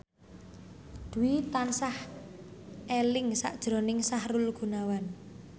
Dwi tansah eling sakjroning Sahrul Gunawan